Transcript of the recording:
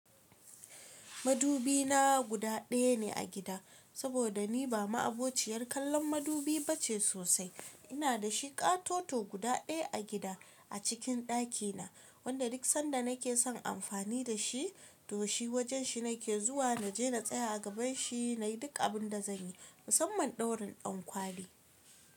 Madubi na guda daya ne a gida, saboda ni ba ma'abociyar kallon madubi ba ce sosai. Ina da shi ƙatoto guda daya a gida, a cikin daki na, wanda duk sanda na ke son amfani da shi, to shi wajen shi na ke zuwa, na je na tsaya a gaban shi, na yi duk abin da zanyi, musamman ɗaurin ɗankwali.